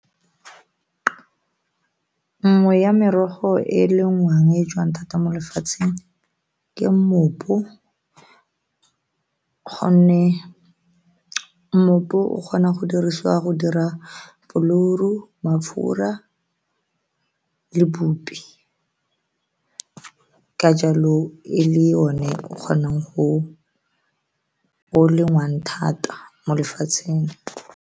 Nngwe ya merogo e e lengwang e joang thata mo lefatsheng ke mmopo gonne mmopo o kgona go dirisiwa go dira flour-o, mafura le bupi ka jalo e le o ne o kgonang go o lengwang thata mo lefatsheng.